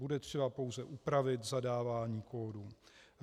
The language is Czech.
Bude třeba pouze upravit zadávání kódů.